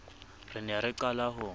re ne re qala ho